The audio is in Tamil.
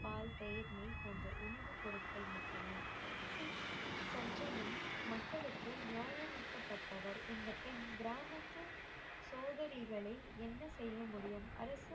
பால், தயிர், நெய் போன்ற உணவுப் பொருட்கள் மட்டுமே சிங் சஞ்சனம் மக்களுக்கு நியாயம் மிக்க பட்டவர் இந்தப் பெண் கிராமத்து சோதனைகளை என்ன செய்ய முடியும் அரசு